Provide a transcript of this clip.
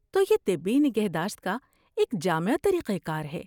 تو یہ طبی نگہداشت کا ایک جامع طریقہ کار ہے۔